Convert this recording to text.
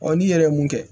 n'i yɛrɛ ye mun kɛ